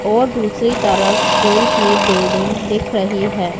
और दूसरी तरफ स्कूल की बिल्डिंग दिख रही है।